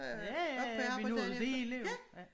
Ja ja ja vi nåede rigeligt jo